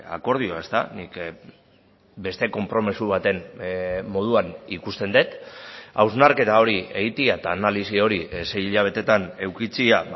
akordioa ezta nik beste konpromiso baten moduan ikusten dut hausnarketa hori egitea eta analisi hori sei hilabetetan edukitzea